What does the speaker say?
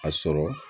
A sɔrɔ